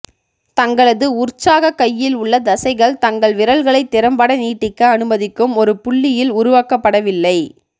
தங்களது உற்சாகக் கையில் உள்ள தசைகள் தங்கள் விரல்களை திறம்பட நீட்டிக்க அனுமதிக்கும் ஒரு புள்ளியில் உருவாக்கப்படவில்லை